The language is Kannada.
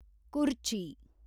ಕುರ್ಚಿ